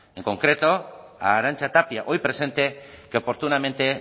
en concreto a arantxa tapia hoy presente que oportunamente